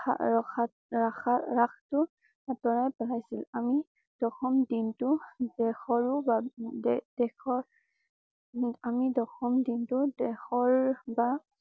ৰক্ষাৰখাৰাখাৰাখাটো বহাইছিল। আমি দশম দিন টো দেশৰো বাবদেদেশৰ আমি দশম দিন টো দেশৰ বা